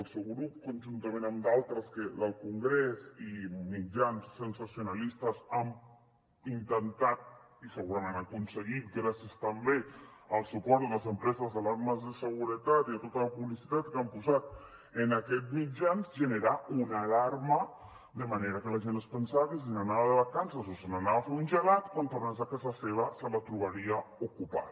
el seu grup conjuntament amb d’altres del congrés i mitjans sensacionalistes han intentat i segurament han aconseguit gràcies també al suport de les empreses d’alarmes de seguretat i de tota la publicitat que han posat en aquests mitjans generar una alarma de manera que la gent es pensava que si se n’anava de vacances o se n’anava a fer un gelat quan tornés a casa seva se la trobaria ocupada